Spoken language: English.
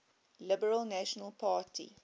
liberal national party